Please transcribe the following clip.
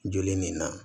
Joli nin na